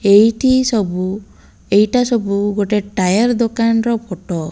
ଏଇଠି ସବୁ ଏଇଟା ସବୁ ଗୋଟେ ଟାୟାର ଦୋକାନର ଫୋଟୋ ।